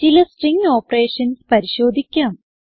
ചില string operations പരിശോധിക്കാം